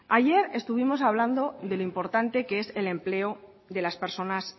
ayer estuvimos hablando de lo importante que es el empleo de las personas